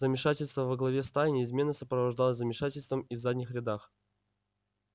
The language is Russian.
замешательство во главе стаи неизменно сопровождалось замешательством и в задних рядах